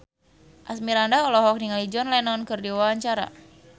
Asmirandah olohok ningali John Lennon keur diwawancara